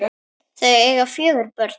Þau eiga fjögur börn.